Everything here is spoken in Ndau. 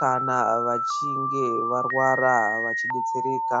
kana vachinge varwara vachidetsereka.